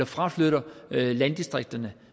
fraflytter landdistrikterne